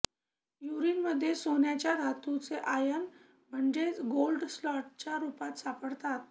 यूरिनमध्ये सोन्याच्या धातूचे आयन म्हणजेच गोल्ड सॉल्टच्या रूपात सापडतात